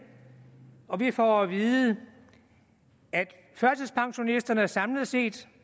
og vi får at vide at førtidspensionisterne samlet set